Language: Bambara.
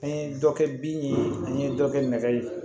An ye dɔ kɛ bin ye an ye dɔ kɛ nɛgɛ ye